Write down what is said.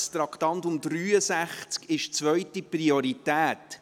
Das Traktandum 63 hat eigentlich zweite Priorität.